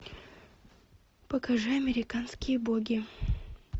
покажи американские боги